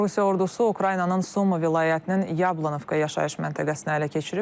Rusiya ordusu Ukraynanın Suma vilayətinin Yablankova yaşayış məntəqəsini ələ keçirib.